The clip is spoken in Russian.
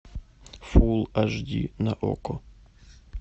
фул аш ди на окко